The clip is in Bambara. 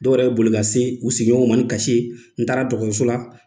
Dɔw yɛrɛ boli ka se u sigiɲɔgɔnw ma ni kasi ye. N taara dɔgɔtɔrɔso la,